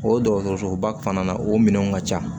O dɔgɔtɔrɔsoba fana na o minɛnw ka ca